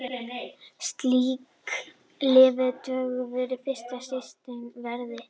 Slík lyf duga vel fyrir styttri ferðir.